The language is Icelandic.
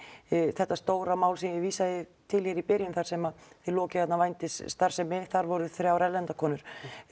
þetta stóra mál sem ég vísa til í byrjun þar sem þið lokið vændisstarfsemi þar voru þrjár erlendar konur